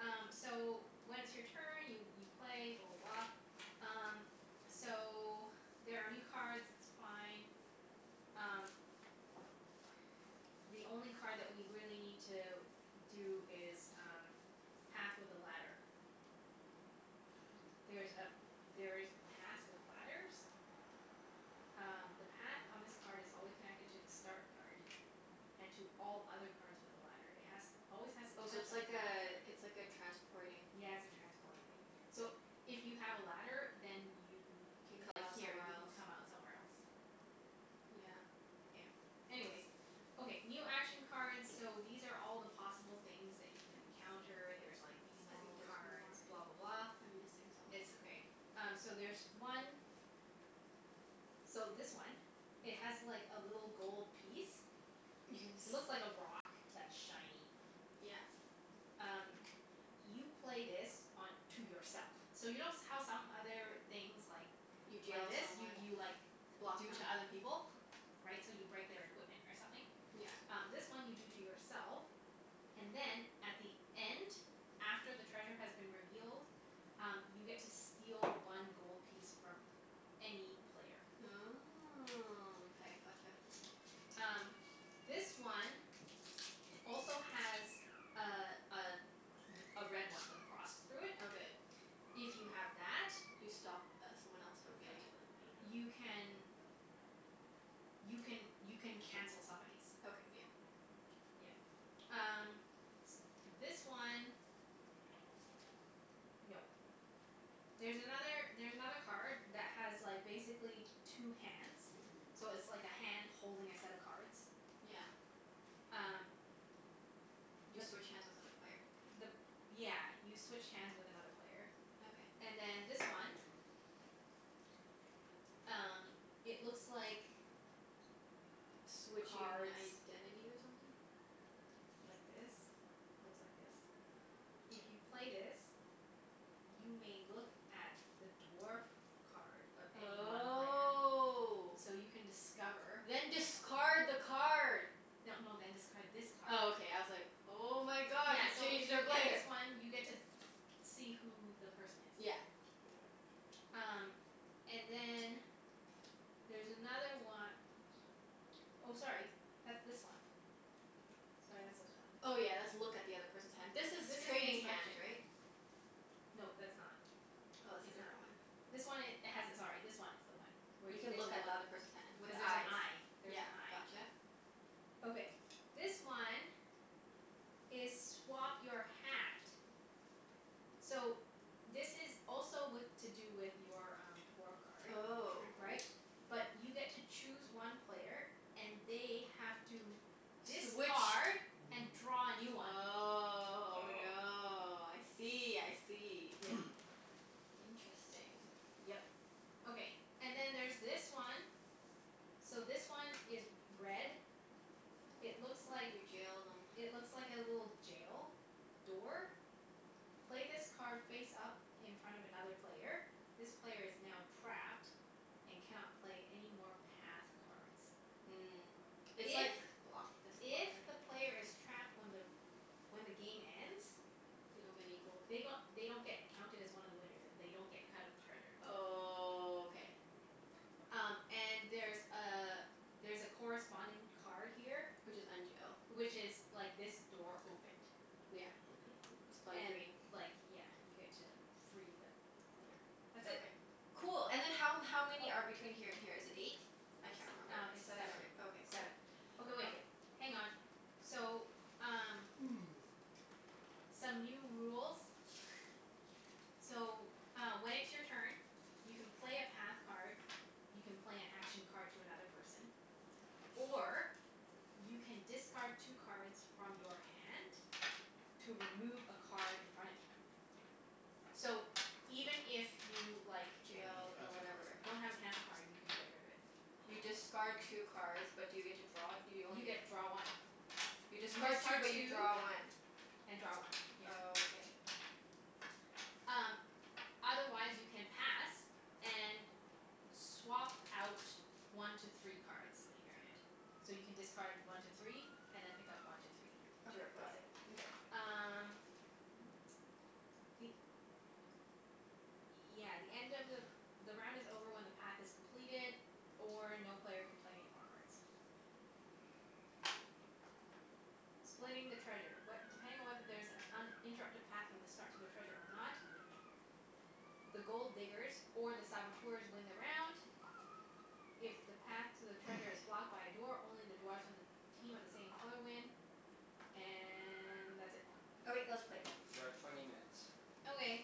Um, so when it's your turn, you you play, blah blah blah. Um, so there are new cards. It's fine. Um the only card that we really need to do is um path with a ladder. There's a, there's paths with ladders. Um, the path on this card is always connected to the start card. And to all other cards with a ladder. It has always has to Oh, so touch it's a path like a, card. it's like a transporting Yeah, it's a transporting thing. So, if you have a ladder then you Can if come like, out here, somewhere you can else. come out somewhere else. Yeah. Yeah. Anyways Okay, new action cards So, these are all the possible things that you can encounter. There's like these I think normal there's cards. more. Blah blah blah. I'm missing some. It's okay. Um, so there's one So, this one it has like, a little gold piece. You can s- Looks like a rock that's shiny. Yeah. Um, you play this on to yourself. So you know s- how some other things like You like deal to this? You someone. you like Block them. do to other people? Right? So you break their equipment or something? Yeah. Um, this one you do to yourself. And then at the end after the treasure has been revealed um, you get to steal one gold piece from any player. Oh, okay. Gotcha. Um, this one also has a a r- a red one with a cross through it. Okay. If you have that You stop th- someone else from You getting cancel it. it, I you guess. can you can, you can cancel somebody's. Okay, yeah. Yeah. Um S- this one No. There's another, there's another card that has like, basically two hands. So it's like a hand holding a set of cards. Yeah. Um You The switch hands with other player. the p- yeah, you switch hands with another player. Okay. And then this one Um, it looks like Switch cards your identity or something? like this. Looks like this. If you Mkay. play this you may look at the dwarf card of any one player. Oh. So you can discover Then discard the card! No no, then discard this Oh, card. okay. I was like Oh my god, Yeah, so if you play this one you get to see who the person is. Yeah. Okay. Um, and then there's another one Oh, sorry. That's this one. Sorry, that's Oh. this one. Oh yeah, that's look at the other person's hand. This This is is trading inspection. hands, right? No, that's not. Oh, it's a It's not. different one. This one i- has it, sorry, this one is the one. Where You you can get to look at look the other person's hand. With Cuz there's an eyes. eye. There's Yeah, an eye. gotcha. Okay, this one is swap your hat. So, this is also with, to do with your um, dwarf card. Oh. Trade rules? Right? But you get to choose one player and they have to Switch discard and draw a new one. Oh Oh. no. I see, I see. Yeah. Interesting. Yep. Okay. And then there's this one. So, this one is red It looks like You jailed him. It looks like a little jail door. Play this card face up in front of another player. This player is now trapped and cannot play any more path cards. Mm. It's If like block this if blocker. the player is trapped when the when the game ends They don't get any gold. they g- they don't get counted as one of the winners. And they don't get a cut of the treasure. Oh, k. Um, and there's a there's a corresponding card here Which is unjail. which is like this door opened. Yeah. Okay. It's probably And green. like, yeah, you get to free the player. That's it. Okay. Cool. And then how m- how many are Oh. between here and here? Is it eight? I S- can't remember. um, it's Seven or seven. Seven. ei- okay, cool. Seven. Okay wait, Okay. hang on. So, um some new rules. So, uh when it's your turn you can play a path card you can play an action card to another person or you can discard two cards from your hand to remove a card in front of you. So, even if you, like Don't have a Jailed or cancel whatever. card. don't have a cancel card, you can get rid of it. You Oh. discard two cards but do you get to draw it? You only You get get draw one. You You discard two discard but you two draw one. and draw one, yeah. Oh, okay. Um, otherwise you can pass and swap out one to three cards in your hand. So, you can discard one to three and then pick up one to three to Okay, got replace it. it. Mkay. Um the, yeah, the end of the the round is over when the path is completed or no player can play any more cards. Splitting the treasure. What, depending on whether there is an uninterrupted path from the start to the treasure or not the Gold Diggers or the Saboteurs win the round. If the path to the treasure is blocked by a door, only the dwarfs from the team of the same color win. And that's it. Okay. Let's K, play. we're at twenty minutes. Okay.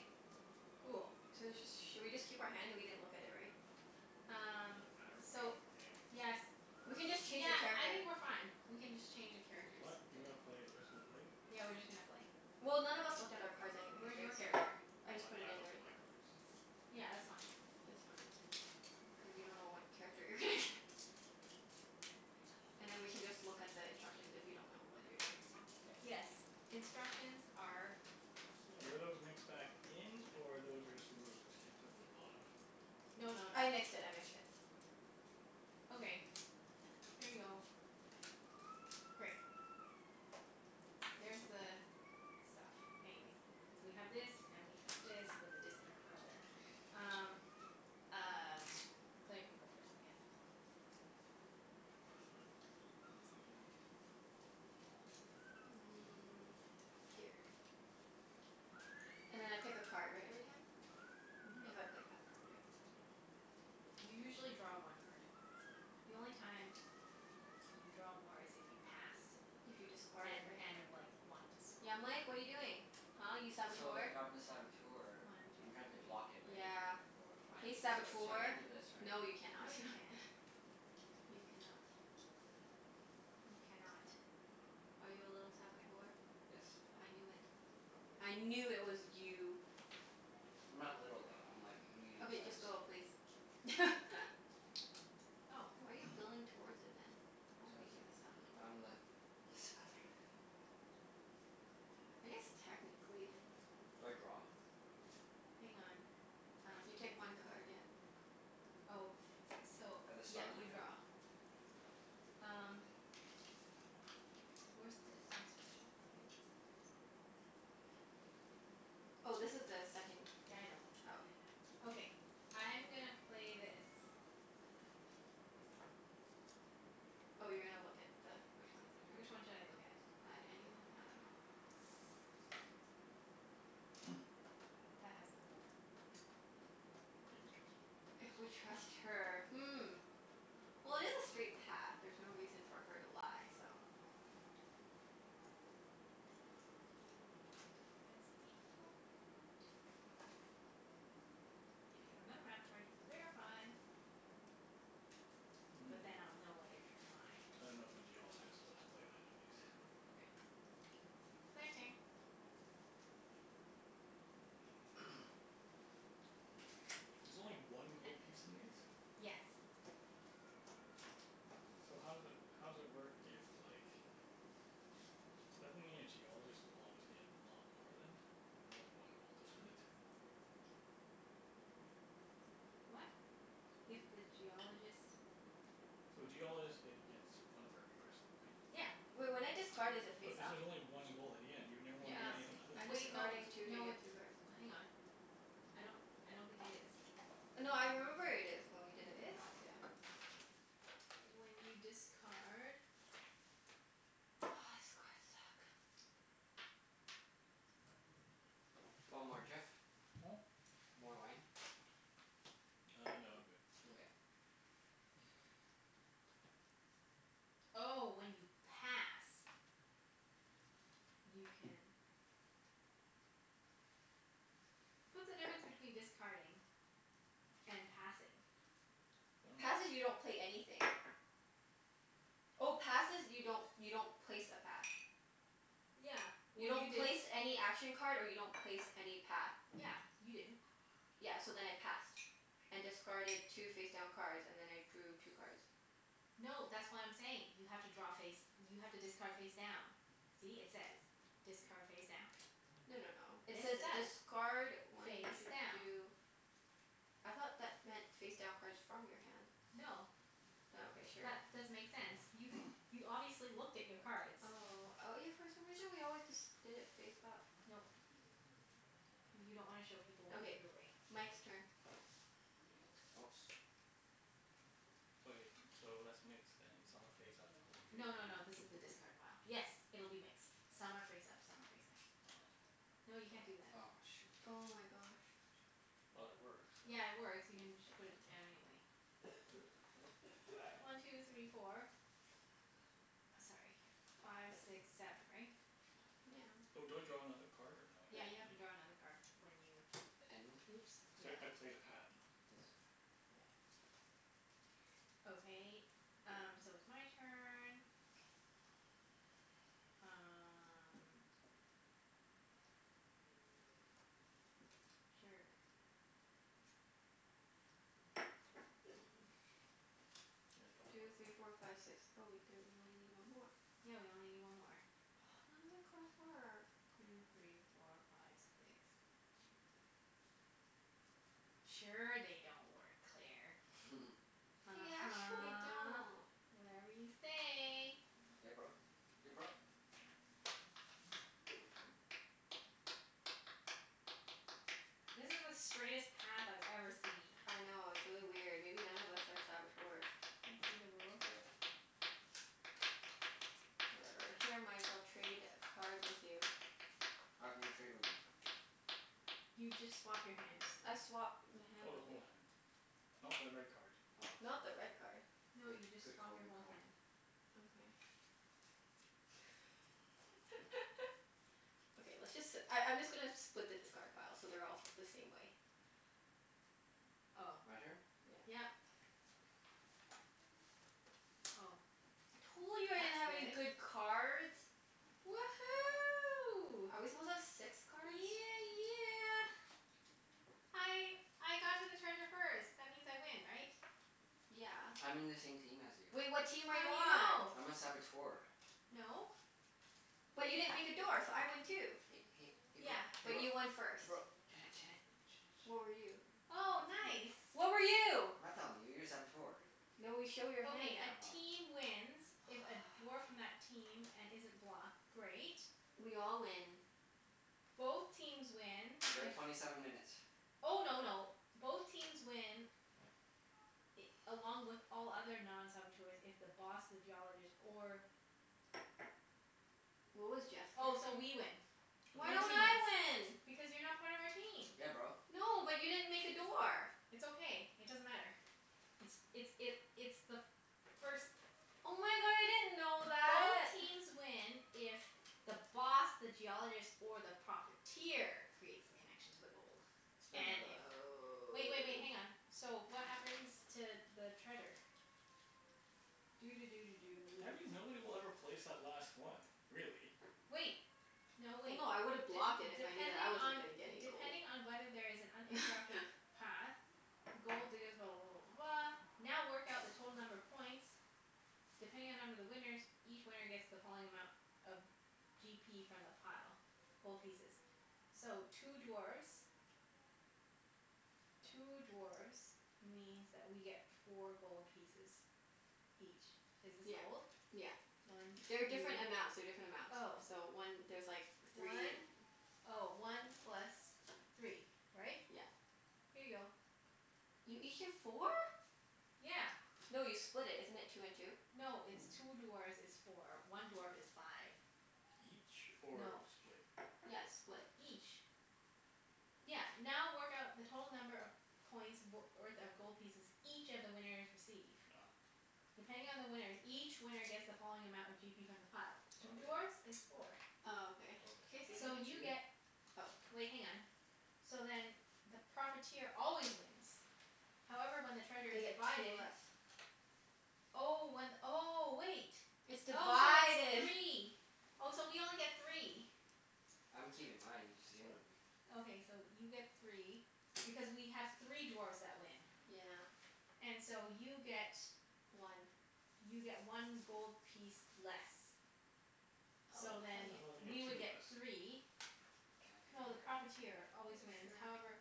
Cool. So let's just Should we just keep our hand? We didn't look at it, right? It Um doesn't matter. We're playing So, open game. yes. Doesn't We can really just matter. change Yeah, the cards I here. think we're fine. We can just change the characters. What? You gonna Okay. play, you're just gonna play? Yeah, we're just gonna play. Well, none of us looked at our cards anyway, Where's your right? So character? I just We- put it I in looked at already. my cards. Yeah, that's fine. Oh, It's fine. okay. Cuz you don't know what character you're gonna get. Yeah. And then we can just look at the instructions if you don't know what you're doing. K. Yes. Instructions are here. Were those mixed back in, or those were just removed? And put to the bottom? No no no. I mixed it. I mixed it. Okay. Here you go. Great. There's the stuff. Anyways So we have this, and we have this, with the discard pile there. Um, y- um, Claire can go first I guess. Mm, here. And then I pick a card, right? Every time? Mhm. If I play a path card, yeah. You usually draw one card. The only time y- you draw more is if you passed If you discarded, and right? and like, want to swap. Yeah, Mike? What are you doing? Huh, you I'm, so, Saboteur? if I'm the Saboteur One two I'm trying to block it, three right? Yeah. four I, five Hey six so seven. so I Saboteur! can't do this, right? No, you cannot. No you can't. K. You cannot. You cannot. Are you a little Saboteur? Yes. I knew it. I knew it was you. I'm not little, though. I'm like, a medium Okay, just size. go please. Oh. Why are you building towards it, then? I don't Cuz think he's a Saboteur I'm the le Saboteur. I guess technically Do I draw? Hang on. Um, You can take I see one something? card, yeah. Oh, so, At the yeah, start of my you turn? draw. Um where's the instructions? Here? Oh, this is the second Yeah, I know. Oh, okay. Okay. I'm gonna play this. Oh, you're gonna look at the, which one is the card? Which one should I look at? On any one, I dunno. That has the gold. If we trust her. If we trust her. Hmm. Well, it is a straight path. There's no reason for her to lie, so It has the gold. If you have another map card you can verify. But then Mm. I'll know whether you're lying. I don't know if the Geologist, but I'll play that anyways. Okay. Claire's turn. There's only I I one gold piece in these? Yes. So how does it, how does it work if like Doesn't it mean a Geologist will always get lot more then? If you only have one gold to split? What? If the Geologist So Geologist get gets one for every crystal, right? Yeah. Wait, when I discard is it But face this up? is only one gold at the end. You'd never Yeah, wanna be Uh, it anything is other so I'm than the wait. No discarding Geologist. two to no, get it's two cards. Hang on. I don't I don't think it is. No, I remember it is, when we It did in the is? past. Yeah. When you discard Oh, this cards suck. Do you want more, Jeff? Hmm? More wine? Uh, no, I'm good. Nkay. Oh, when you pass. You can What's the difference between discarding and passing? I dunno. Passing, you don't pay anything. Oh, passes you don't, you don't place a path. Yeah. You Well, you don't place didn't any action card and you don't place any path. Yeah. You didn't. Yeah, so then I passed. And discarded two face down cards, and then I drew two cards. No, that's what I'm saying. You have to draw face, you have to discard face down. See? It says, "Discard face down." No no no, it Yes, says it does. discard when Face to down. do I thought that meant face down cards from your hand. No. Oh, okay. Sure. That doesn't make sense. You you obviously looked at your cards. Oh, oh yeah for some reason we always disc- did it face up. Nope. Cuz you don't wanna show people what you Okay, threw away. Mike's turn. Oops. Wait, so that's mixed then. Some are face up, some of them No no no, are face down. this is the discard pile. Yes, it'll be mixed. Some are face up, some are face down. Oh. No, you can't do that. Aw, shoot. Oh my gosh. Well, it works, so Yeah, it works. You can just put it down anyway. One two three four. Sorry, five six seven, right? Yeah. Oh, do I draw another card, or no, Yeah, I you have to don't? draw another card when you And Oops, yeah. Cuz I I played a path. This. Yep. Okay, um, so it's my turn. Um Sure. I draw Two three four another five six. Oh wait, there, you only need one more. Yeah, we only need one more. None of my cards work. Two three four five six. Sure they don't work, Claire. They actually uh-huh. don't. Whatever you say. Yeah, bro. Ya bro? This is the straightest path I've ever seen. I know, it's really weird. Maybe none of us are Saboteurs. Can I see the rules? Oh yeah. Whatever. Here Mike, I'll trade a cards with you. How can you trade with me? You just swap your hands. I swap my hand Oh, the with whole you. hand. Not the red card. Oh, Not the sorry. red card. No, Good you just good swap call. your Good whole call. hand. Okay. Okay, let's just si- I I'm just gonna split the discard pile so they're all the same way. Oh. My turn? Yeah. Yep. Oh. Told you I didn't have any That's good. good cards. Woohoo. Are we supposed to have six cards? Yeah yeah! I I got to the treasure first. That means I win, right? Yeah. I'm in the same team as you. Well, what team are you How do you on? know? I'm a Saboteur. No. But you didn't make a door, so I win Hey too. hey hey bro Yeah. hey But bro you won first. hey bro Junette Junette Junette What were you? Junette Oh, nice. What were you? I'm not telling you. You're a Saboteur. No, we show your hand Okay, a now. Oh. team wins if a dwarf from that team, and isn't blocked Great. We all win. Both teams win We're at if twenty seven minutes. Oh no no, both teams win i- along with all other non-saboteurs if the Boss, the Geologist, or What was Jeff's Oh, character? so we win. Why Blue don't team wins. I win? Because you're not part of our team. Yeah, bro. No, but you didn't make a door. It's okay. It doesn't matter. It's it's it it's the first Oh my god, I didn't know Both that! teams win if the Boss, the Geologist, or the Profiteer creates the connection to the gold. Let's play And another if, round. wait wait wait, hang on. Oh. So, what happens to the treasure? Doo doo doo doo Do I doo. mean nobody will ever place that last one, really. Wait! No, No wait. no, I D- woulda blocked it if I knew that I depending wasn't on gonna get any gold. depending on whether there is an uninterrupted path, the gold diggers blah blah blah blah blah now work out the total number of points depending on number of the winners each winner gets the following amount of g p from the pile. Gold pieces. So, two dwarfs two dwarfs means that we get four gold pieces. Each. Is this Yeah. gold? Yeah. One two They're different amounts. They're different amounts. Oh. So one, there's like three and One, oh, one plus three. Right? Yeah. Here you go. You each get four? Yeah. No, you split it. Isn't it two and two? No, it's two dwarfs is four. One dwarf is five. Each? Or No. split? Yeah, it's split. Each. Yeah, now work out the total number of points w- worth of gold pieces each of the winners receive. Oh. Depending on the winners, each winner gets the following amount of g p from the pile. Oh Two okay. dwarfs is four. Oh, okay. Can Okay, I see and I So something? get you two? get Oh. Wait, hang on. So then the Profiteer always wins. However, when the treasure They is get two divided. less. Oh, one, oh, wait. It's Oh, so it's divided. three. Oh, so we only get three. I'm keeping mine. You just gave them What? to me. Okay, so you get three. Because we have three dwarfs that win. Yeah. And so you get One. you get one gold piece less. What? So Oh, how do then, I thought they get we you two would get get t- less. three Can I No, the What? cut your hair, Profiteer Claire? always wins, Sure. however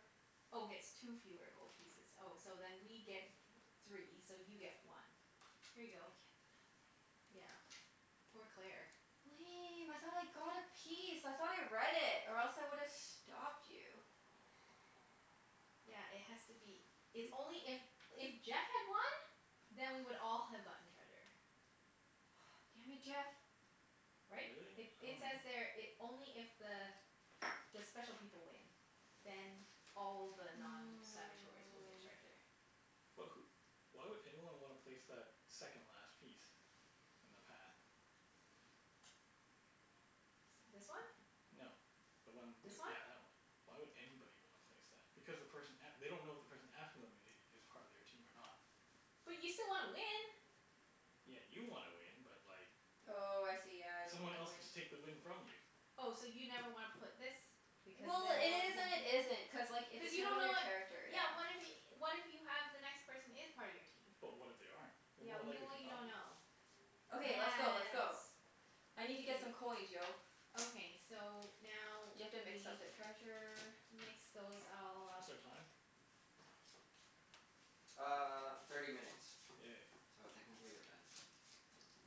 Oh, gets two fewer gold pieces Oh, so then we get three, so you get one. Here you I get go. nothing. Yeah. Poor Claire. Lame, I thought I got a piece. I thought I read it. Or else I would've stopped you. Yeah, it has to be, it's only if, if Jeff had won then we would all have gotten treasure. Ah, damn it, Jeff! Right? Really? It I it says dunno. there it, only if the the special people win then all the non-saboteurs will get Mm. treasure. But wh- why would anyone wanna place that second last piece? In the path? This one? No. The one t- This one? yeah, that one. Why would anybody wanna place that? Because the person a- they don't know if the person after them i- is part of their team or not. But you still wanna win. Yeah, you wanna win, but like Oh, I see. Yeah. I don't get someone to else could win. just take the win from you. Oh, so you never wanna put this because Well, then it no one is can and it isn't. Cuz like, it Cuz you depends don't on know your what character, Yeah, yeah. what if y- what if you have the next person is part of your team? But what if they aren't? They're Yeah, more well y- likely well to you not don't be. know. Okay, let's go. Let's Yes. go. I need to get some Wait. coins, yo. Okay. So, now You we have to mix up the treasure. mix those all up. What's our time? Uh, thirty minutes. Yay. So technically we're done.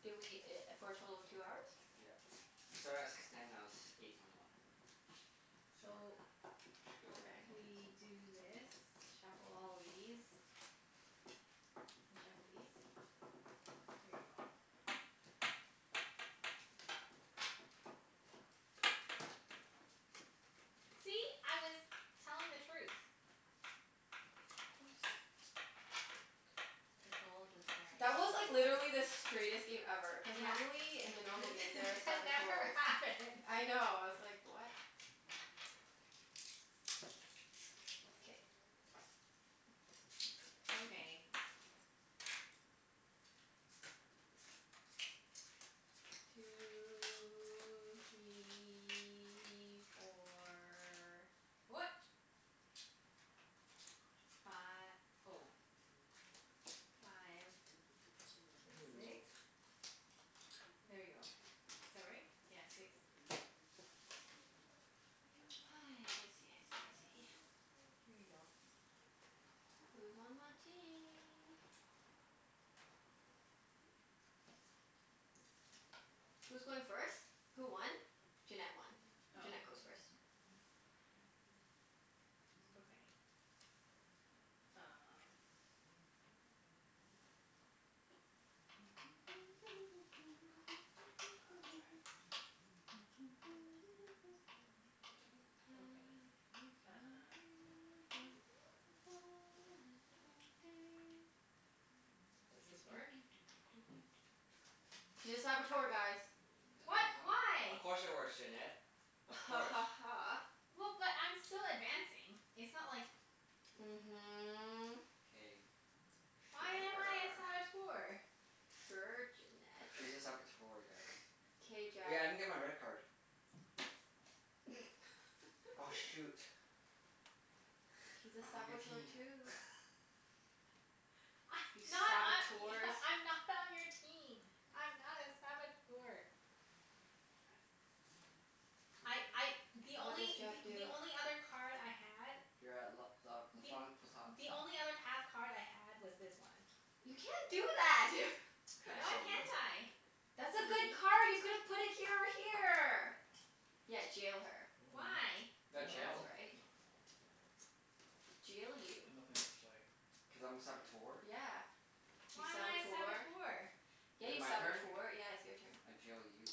Did we i- for a total of two hours? Yeah. We started at six ten, now it's eight twenty one. So So, we should be over Okay. ten minutes. we do this. Shuffle all of these. And shuffle these. Here you go. See? I was telling the truth. Of course. The gold was That was like, literally the straightest game ever. Cuz Yeah. normally, in the normal game This there are that never Saboteurs. happens. I know. I was like, what? K. Okay. Two three four. What? Fi- oh. Five. Bending the Six? rules. There you go. Is that right? Yeah, six. I see, I see, I see. Here you go. Who's on my team? Who's going first? Who won? Junette won. Oh. Junette goes first. Okay. Um Oh, rats. I've Okay, been uh working on the railroad, all the live long day. Doo Does doo this doo work? doo doo doo doo doo. She's a Saboteur, guys. H- we What? h- of Why? course it works, Junette. Of Ha course. ha ha. Well, but I'm still advancing. It's not like Mhm. K. Why am I a Sure. Saboteur? Sure, Junette. She's a Saboteur, guys. K, Jeff. Hey, I didn't get my red card. Oh. Oh shoot. He's a I'm on your Saboteur team. too. I You not I Saboteurs. e- I'm not on your team. I'm not a Saboteur. This I is I, really the confusing. What did only Jeff th- the do? only other card I had You're at l- l- la Th- front potat. the only other path card I had was this one. You can't do that! You can't Why show me. can't I? That's a See? good card! You could have put it here or here! Yeah, jail her. Mm. Why? I You got That's jailed. dunno. right. Jail you. I've nothing else to play. Cuz I'm a Saboteur. Yeah. You Why am I a Saboteur. Saboteur? Yeah, Is it you my turn? Saboteur. Yeah, it's your turn. I jail you.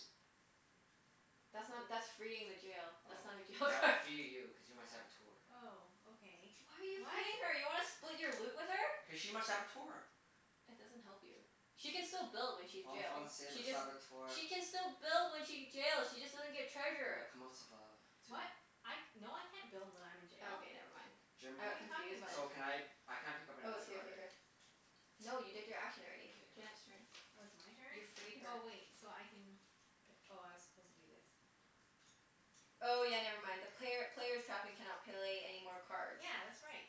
That's not, that's freeing the jail. Oh. That's not a jail All right, I card. free you cuz you're my Saboteur. Oh, okay. Why are you What? freeing her? You wanna split your loot with her? Cuz she's my Saboteur. That doesn't help you. She can still build when she's En jail. Français, le She just Saboteur. She can still build when she get jail she just doesn't get Le treasure. comment ça va tu? What? I, no I can't build when I'm in jail. Okay, never mind. I Jim What are got you talking confused there. so about? can I I can't pick up I was another here card, here right? here. No, you did your action already. K. Junette's turn. Oh, it's my You turn? freed her. Oh, wait, so I can p- oh, I was supposed to do this. Oh yeah, never mind. The player player's trapped and cannot play any more cards. Yeah, that's right.